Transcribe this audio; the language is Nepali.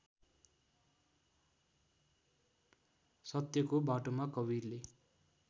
सत्यको बाटोमा कवीरले